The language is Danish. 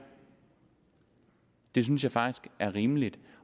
det synes jeg faktisk er rimeligt